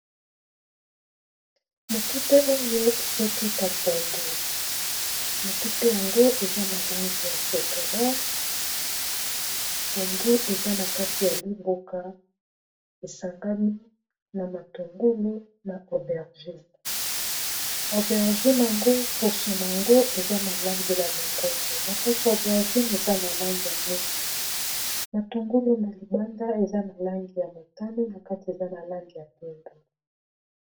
motute oyo ezotuta pondu motute yango eza na langi ya shokola pondu eza na kati ya liboka esangami na matungulu na aubergine aubergine yango poso na yango eza na langi ya longondo na kati ya aubergine eza na langi ya mwindu matungulu na libanda eza na langi ya motani na kati eza na langi ya pondu